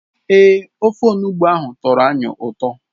Èè, ofe Onugbụ ahụ tọrọ anyị ụtọ